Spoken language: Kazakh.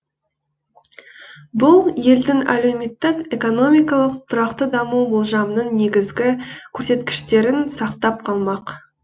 бұл елдің әлеуметтік экономикалық тұрақты даму болжамының негізгі көрсеткіштерін сақтап қалмақ